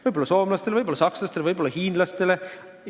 Võib-olla soomlastele, võib-olla sakslastele, võib-olla hiinlastele.